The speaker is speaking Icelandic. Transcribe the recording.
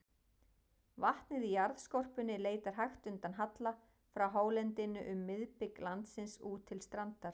Vatnið í jarðskorpunni leitar hægt undan halla frá hálendinu um miðbik landsins út til strandar.